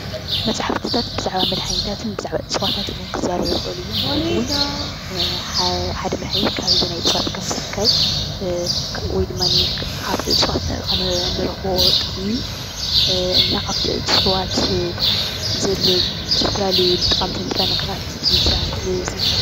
መፅሓፍታት ብዛዕባ መድሓኒታትን ብዛዕባ እፅዋታትን ክዛረቡ ይኽእሉ እዮም። ማለት እውን ሓደ መድሓኒት ካበየናይ እፅዋት ከምዝርከብ ወይ ድማ ካብቲ እፅዋት ንረኽቦ ጥቕሚ እና ካብቲ እፅዋት ዘለዉ ዝተፈላለዩ ጠቐምቲ ንጥረ ነገራት የዘንቱ።